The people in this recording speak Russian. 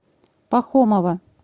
пахомова